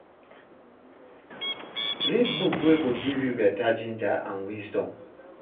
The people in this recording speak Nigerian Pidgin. Read book wey go give yu beta ginger and wisdom.